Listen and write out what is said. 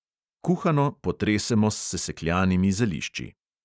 Kuhano potresemo s sesekljanimi zelišči.